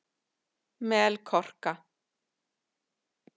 Melkorka